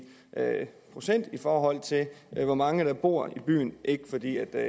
procent i forhold til hvor mange der bor i byen ikke fordi jeg